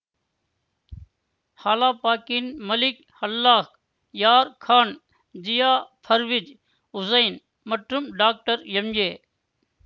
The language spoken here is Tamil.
காலாபாக்கின் மலிக் அல்லாஹ் யார் கான் ஜியா பர்வீஜ் ஹூசைன் மற்றும் டாக்டர் எம்ஏ